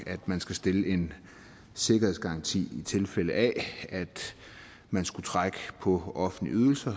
at man skal stille en sikkerhedsgaranti i tilfælde af at man skulle trække på offentlige ydelser